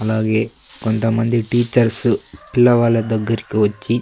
అలాగే కొంతమంది టీచర్స్ పిల్లవాలా దగ్గరికి వచ్చి.